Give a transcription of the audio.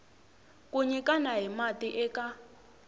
ku nyikana hi mati eka